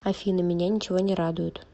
афина меня ничего не радует